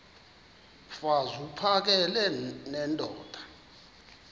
mfaz uphakele nendoda